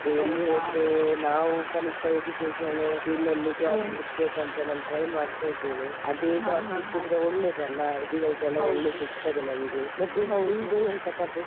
ನಾವ್ ಕಲಿತ education field ಅಲ್ಲಿ job ಹುಡುಕ್ಬೇಕಂತ ನಾನ್ try ಮಾಡ್ತಾ ಇದ್ದೇನೆ ಅದೆ job ಸಿಕ್ಕಿದ್ರೆ ಒಳ್ಳೇದಲ್ಲ, ಅಲ್ಲಿ ಒಳ್ಳೇದು ಸಿಗ್ತಾದೆ ನಮ್ಗೆ ಮತ್ತೆ ನಿಮ್ದು ಎಂತ ಕತೆ?